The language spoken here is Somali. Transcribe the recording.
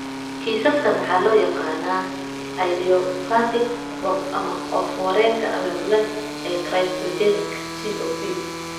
Kiisaskaan waxaa loo yaqaannaa idiopathic BOOP ama oof-wareenka abaabulan ee cryptogenic (COP).